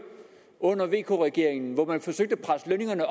under vk regeringen hvor man forsøgte at presse lønningerne